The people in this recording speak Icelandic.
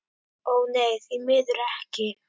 Ó nei, því miður ekki.